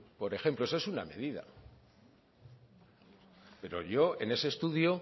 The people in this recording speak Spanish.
por ejemplo eso es una medida pero yo en ese estudio